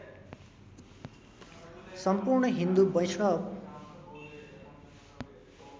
सम्पूर्ण हिन्दु वैष्णव